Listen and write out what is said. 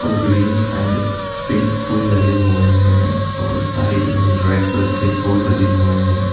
Green and pink फूल लगे हुए हैं और साइड में रेड कलर के फूल लगे हुए हैं ।